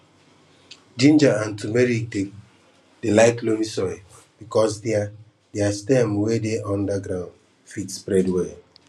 ginger and turmeric dey like loamy soil because their their stem wey dey under ground fit spread well